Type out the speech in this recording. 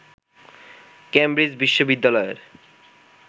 Cambridge বিশ্ববিদ্যালয়ের